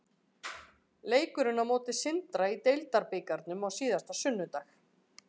Leikurinn á móti Sindra í deildarbikarnum á síðasta sunnudag.